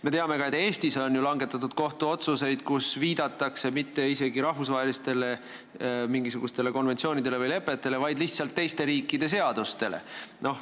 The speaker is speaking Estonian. Me teame, et Eestis on ju langetatud kohtuotsuseid, kus ei viidata isegi mitte mingisugustele rahvusvahelistele konventsioonidele või lepetele, vaid lihtsalt teiste riikide seadustele.